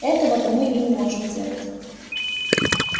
этого-то мы и не можем делать